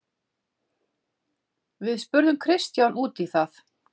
Við spurðum Kristján út í það.